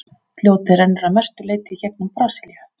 Fljótið rennur að mestu leyti í gegnum Brasilíu.